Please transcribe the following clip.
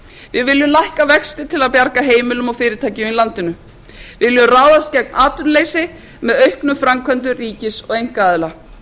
við viljum lækka vexti til að bjarga heimilum og fyrirtækjum í landinu við viljum ráðast gegn atvinnuleysi með auknum framkvæmdum ríkis og einkaaðila við